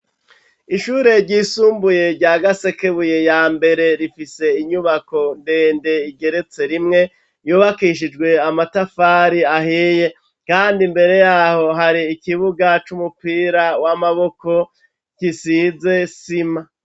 Ishure ryisumbuye rya Gasekebuye ya mbere, rifise inyubako ndende igeretse rimwe, yubakishijwe amatafari ahiye kandi imbere y'aho hari ikibuga c'umupira w'amaboko gisize isima.